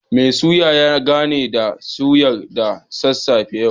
Mai suya ya gana da suyar sa da sassafe yau